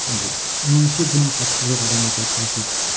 андай меніңше дым қатысы жоқ адамдарды отырғызып жіберді де